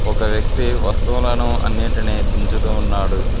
ఒక వ్యక్తి వస్తువులను అన్నిటిని దించుతూ ఉన్నాడు.